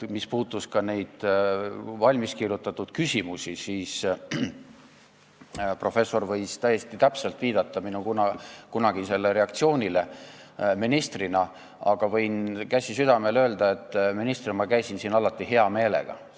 Mis puudutab neid valmiskirjutatud küsimusi, siis professor võis täiesti täpselt viidata minu kunagisele reaktsioonile ministrina, aga võin, käsi südamel, öelda, et ministrina käisin ma siin alati hea meelega.